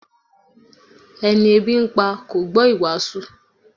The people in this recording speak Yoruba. Ẹni ebi ń pa kò gbọ́ ìwàásù